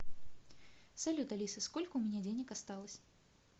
салют алиса сколько у меня денег осталось